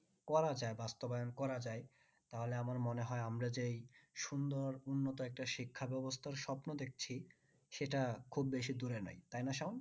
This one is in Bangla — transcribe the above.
করা যায় বাস্তবায়ন করা যায় তাহলে আমার মনে হয় আমরা যে এই সুন্দর উন্নত একটা শিক্ষা ব্যবস্থার স্বপ্ন দেখছি সেটা খুব বেশি দূরে নেই তাই না সায়ান?